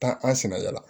Taa an sɛnɛ yala